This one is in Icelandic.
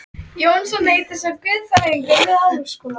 Jónsson heitir sá, guðfræðinemi við Háskólann.